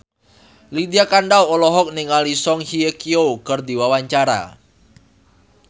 Lydia Kandou olohok ningali Song Hye Kyo keur diwawancara